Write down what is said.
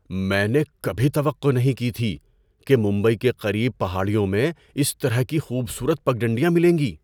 میں نے کبھی توقع نہیں کی تھی کہ ممبئی کے قریب پہاڑیوں میں اس طرح کی خوبصورت پگڈنڈیاں ملیں گی۔